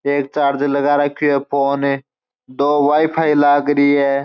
एक चार्ज लगा राखो है फ़ोन ने दो वाई_फाई लागरी है।